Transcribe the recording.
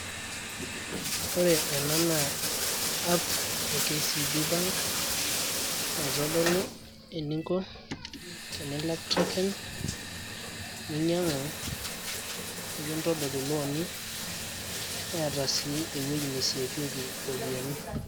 Ore ena naa app e kcb bank, naitodolu eninko tenilak token ,ninyang'u, nikintodol ilooni, neeta si ewueji niseevieki iropiyiani.